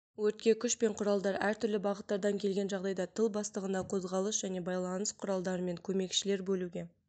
өртке күш пен құралдар әртүрлі бағыттардан келген жағдайда тыл бастығына қозғалыс және байланыс құралдарымен көмекшілер бөлуге